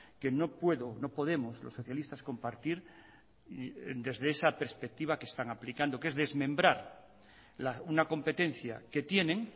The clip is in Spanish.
que no puedo no podemos los socialistas compartir desde esa perspectiva que están aplicando que es desmembrar una competencia que tienen